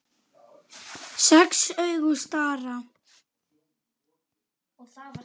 Sex augu stara.